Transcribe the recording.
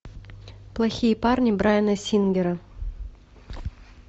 плохие парни брайана сингера